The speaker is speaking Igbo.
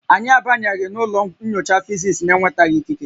Anyị abanyeghị ụlọ nyocha Fisis na-enwetaghị ikike